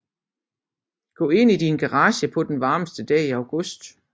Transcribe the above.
Gå ind i din garage på den varmeste dag i august